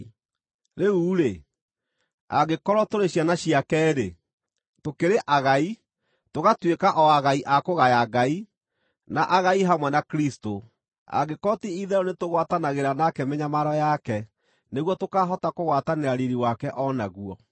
Rĩu-rĩ, angĩkorwo tũrĩ ciana ciake-rĩ, tũkĩrĩ agai, tũgatuĩka o agai a kũgaya Ngai, na agai hamwe na Kristũ, angĩkorwo ti-itherũ nĩtũgwatanagĩra nake mĩnyamaro yake nĩguo tũkaahota kũgwatanĩra riiri wake o naguo.